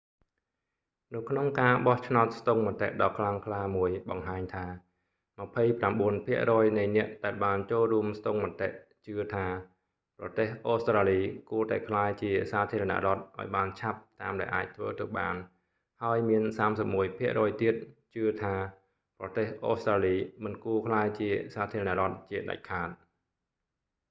នៅក្នុងការបោះឆ្នោតស្ទង់មតិដ៏ខ្លាំងក្លាមួយបង្ហាញថា 29 ភាគរយនៃអ្នកដែលបានចូលរួមស្ទង់មតិជឿថា ប្រទេសអូស្ដ្រាលី គួរតែក្លាយជាសាធារណរដ្ឋឱ្យបានឆាប់តាមដែលអាចធ្វើទៅបាន ហើយមាន 31 ភាគរយទៀត ជឿថា ប្រទេសអូស្ត្រាលី មិនគួរក្លាយជាសាធារណរដ្ឋជាដាច់ខាត